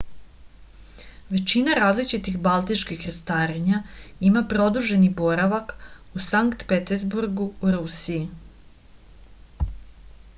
većina različitih baltičkih krstarenja ima produženi boravak u sankt peterburgu u rusiji